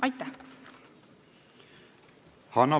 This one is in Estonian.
Aitäh!